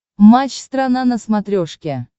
матч страна на смотрешке